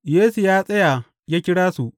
Yesu ya tsaya ya kira su.